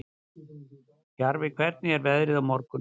Jarfi, hvernig er veðrið á morgun?